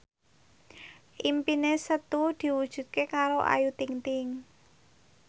impine Setu diwujudke karo Ayu Ting ting